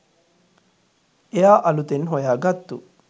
එයා අලුතෙන් හොයා ගත්තු